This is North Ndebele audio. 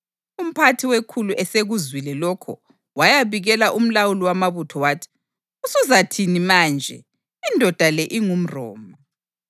Umphathi wekhulu esekuzwile lokho wayabikela umlawuli wamabutho wathi, “Usuzathini manje? Indoda le ingumRoma.”